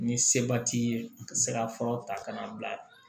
Ni seba t'i ye ka se ka fura ta ka n'a bila